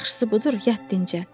Yaxşısı budur, yat dincəl.